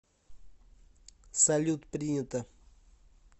салют принято